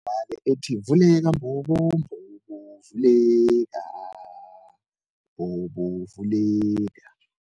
ethi vuleka mbobo, mbobo vuleka, mbobo vuleka.